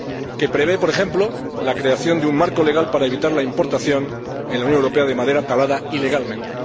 que prevé, por ejemplo, la creación de un marco legal para evitar la importación en la Unión Europea de madera talada ilegalmente.